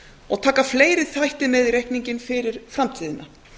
og taka fleiri þætti með í reikninginn fyrir framtíðina